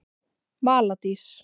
Vala Dís.